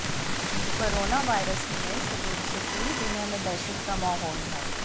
corona virus के नए स्वरूप से पूरी दुनिया में दहशत का माहौल है